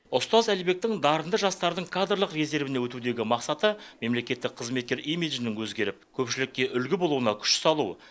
ұстаз әлібектің дарынды жастардың кадрлық резервіне өтудегі мақсаты мемлекеттік қызметкер имиджін өзгеріп көпшілікке үлгі болуына күш салу